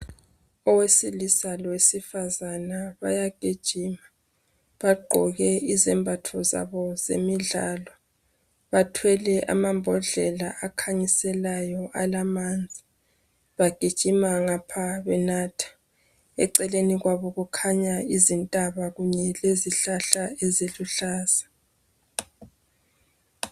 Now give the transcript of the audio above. Owesilisa lowesifazana bayagijima bagqoke izembatho zabo zemidlalo. Bathwele amambodlela akhanyiselayo alamanzi. Bagijima ngapha benatha. Eceleni kwabo kukhanya izintaba kunye lezihlahla eziluhlaza.